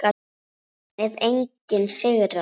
Ef enginn sigrar.